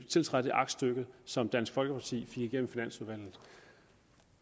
tiltræde det aktstykke som dansk folkeparti fik igennem i finansudvalget